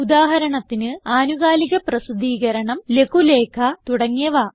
ഉദാഹരണത്തിന് ആനുകാലികപ്രസിദ്ധീകരണം ലഘുലേഖ തുടങ്ങിയവ